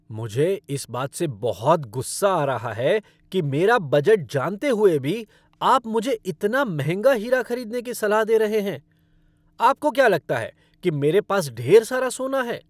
मुझे इस बात से बहुत गुस्सा आ रहा है कि मेरा बजट जानते हुए भी आप मुझे इतना महंगा हीरा खरीदने की सलाह दे रहे हैं। आपको क्या लगता है कि मेरे पास ढेर सारा सोना है?